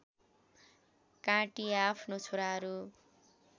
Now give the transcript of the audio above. काटी आफ्नो छोराहरू